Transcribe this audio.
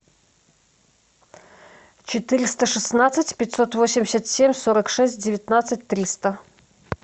четыреста шестнадцать пятьсот восемьдесят семь сорок шесть девятнадцать триста